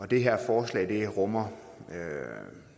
det her forslag rummer